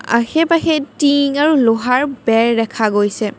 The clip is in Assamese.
আশে পাশে টিং আৰু লোহাৰ বেৰ দেখা গৈছে।